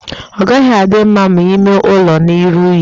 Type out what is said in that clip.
Ọ gaghị adị mma ma ịme ụlọ na-eru unyi.